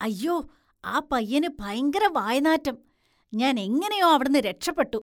അയ്യോ, ആ പയ്യന് ഭയങ്കര വായനാറ്റം, ഞാന്‍ എങ്ങനെയോ അവിടുന്ന് രക്ഷപ്പെട്ടു.